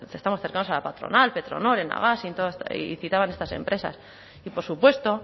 que estamos cercanos a la patronal petronor enagas y citaban estas empresas y por supuesto